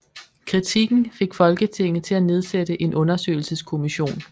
Kritikken fik Folketinget til at nedsætte en undersøgelseskommission